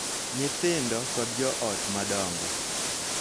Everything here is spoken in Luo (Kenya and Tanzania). Nyithindo, kod jo ot madongo.